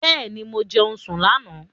Bẹ́ẹ̀ni, mo jẹun sùn lánà